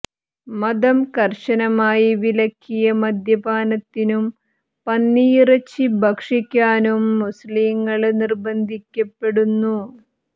മതം കര്ശനമായി വിലക്കിയ മദ്യപാനത്തിനും പന്നിയിറച്ചി ഭക്ഷിക്കാനും മുസ്ലിംകള് നിര്ബന്ധിക്കപ്പെടുന്നു